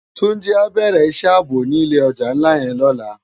Tunji á bèrè isë àbó ni ilé òjá nlá yèn lòlá